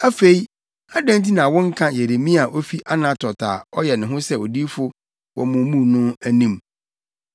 Afei adɛn nti na wonka Yeremia a ofi Anatot a ɔyɛ ne ho sɛ odiyifo wɔ mo mu no anim?